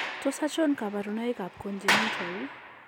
Tos achon kabarunaik ab Congenital ?